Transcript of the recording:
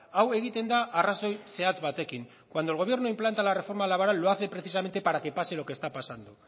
hau egiten da arrazoi zehatz batekin cuando el gobierno implanta la reforma laboral lo hace precisamente para que pase lo que está pasando